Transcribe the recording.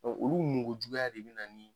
olu ɲuŋujuguya de bɛ na ni